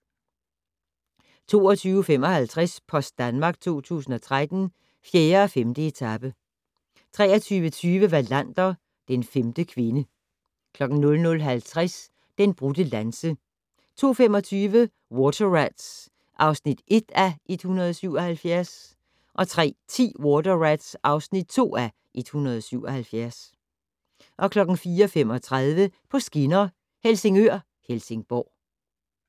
22:55: Post Danmark 2013: 4. og 5. etape 23:20: Wallander: Den femte kvinde 00:50: Den brudte lanse 02:25: Water Rats (1:177) 03:10: Water Rats (2:177) 04:35: På skinner: Helsingør-Helsingborg